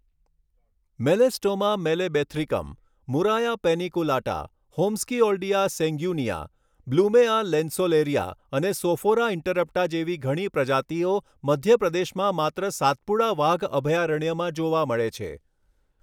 Melastoma malabathricum, Murraya paniculata, Holmskioldia sanguinea, Blumea lanceolaria અને Sophora interrupta જેવી ઘણી પ્રજાતિઓ મધ્ય પ્રદેશમાં માત્ર સાતપુડા વાઘ અભયારણ્યમાં જોવા મળે છે.